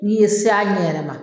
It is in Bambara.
N'i ye se a ɲɛ yɛrɛ na